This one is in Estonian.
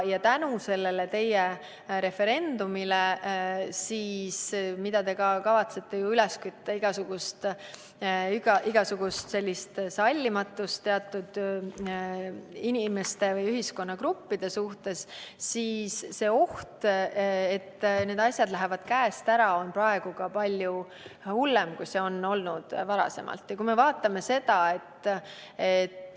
Tänu teie referendumile, millega te kavatsete üles kütta sallimatust teatud inimeste või ühiskonnagruppide suhtes, on oht, et asjad lähevad käest ära, praegu palju hullem, kui see on olnud varem.